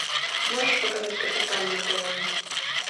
можешь показать капитан на тв